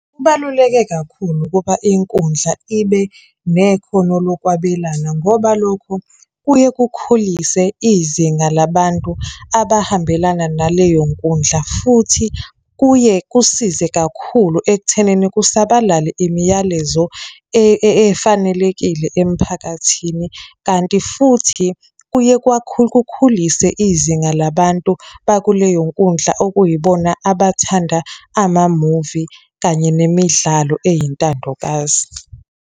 Kubaluleke kakhulu ukuba inkundla ibe nekhono lokwabelana ngoba lokho kuye kukhulise izinga labantu abahambelana naleyo nkundla futhi kuye kusize kakhulu ekuthenini kusabalale imiyalezo efanelekile emphakathini. Kanti futhi kuye kukhulise izinga labantu bakuleyo nkundla okuyibona abathanda amamuvi kanye nemidlalo eyintandokazi.